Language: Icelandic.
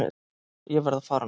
Ég verð að fara núna!